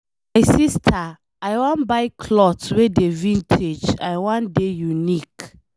My sister I wan buy cloth wey dey vintage. I wan dey unique.